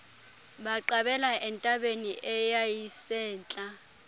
baqabela entabeni eyayisentla